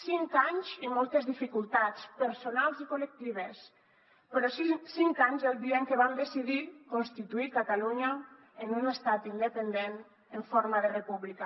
cinc anys i moltes dificultats personals i col·lectives però cinc anys el dia en què vam decidir constituir catalunya en un estat independent en forma de república